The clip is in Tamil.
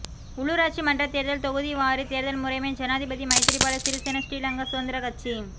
உள்ளூராட்சி மன்றதேர்தல் தொகுதிவாரி தேர்தல் முறைமை ஜனாதிபதி மைத்திரிபால சிறிசேன ஸ்ரீலங்கா சுதந்திரக் கட்சி